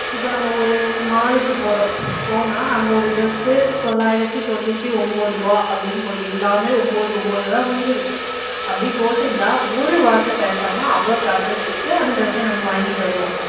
இப்ப நம்ம ஒரு mall க்கு போறோம் போனா அங்க ஒரு டிரஸ் தொள்ளாயிரத்தி தொண்ணூத்தி ஒன்பது ரூபாய் அப்படின்னு போட்டு எல்லாமே ஒன்பது ஒன்பதுல தான் முடிஞ்சுருக்கும் அப்படி போட்டுருந்தா ஒரு வார்த்தை பேசாம அவ்வளவு காசையும் குடுத்து அந்த dress ஆ நம்ம வாங்கிட்டு வருவோம்